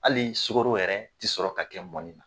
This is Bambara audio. Hali sogoro yɛrɛ ti sɔrɔ ka kɛ mɔni na.